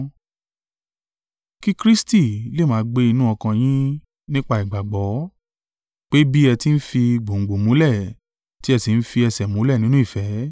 Kí Kristi lè máa gbé inú ọkàn yín nípa ìgbàgbọ́; pé bí ẹ ti ń fi gbòǹgbò múlẹ̀ tí ẹ sì ń fi ẹsẹ̀ múlẹ̀ nínú ìfẹ́;